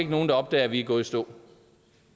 nogen der opdager at vi er gået i stå